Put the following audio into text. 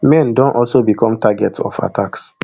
men don also become target of attacks